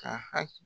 Ka haki